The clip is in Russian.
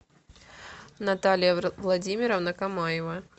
наталья владимировна камаева